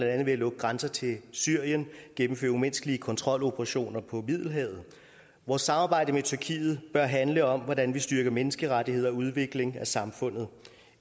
andet ved at lukke grænser til syrien og gennemføre umenneskelige kontroloperationer på middelhavet vores samarbejde med tyrkiet bør handle om hvordan vi styrker menneskerettigheder og udvikling af samfundet